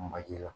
Manji la